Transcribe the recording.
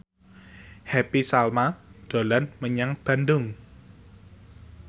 Happy Salma dolan menyang Bandung